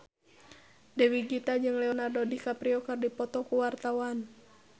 Dewi Gita jeung Leonardo DiCaprio keur dipoto ku wartawan